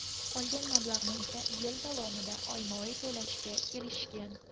Qolgan mablag‘ni esa yil davomida oyma-oy to‘lashga kelishishgan.